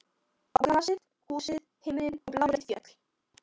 Á grasið, húsin, himininn og bláleit fjöll.